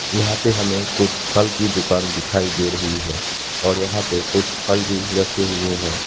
यहां पे हमें कुछ फल की दुकान दिखाई दे रही है और यहां पे कुछ फल भी रखे हुए है।